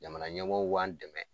Jamana ɲɛmɔgɔw b'an dɛmɛ